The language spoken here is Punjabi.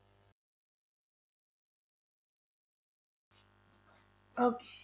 Okay